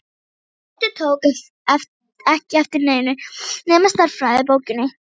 Tóti tók ekki eftir neinu nema stærðfræðibókinni.